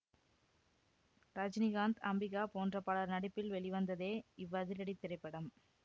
ரஜினிகாந்த் அம்பிகா போன்ற பலர் நடிப்பில் வெளிவந்ததே இவ்வதிரடித் திரைப்படம்